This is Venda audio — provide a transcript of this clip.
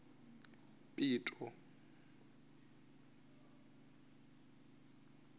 pito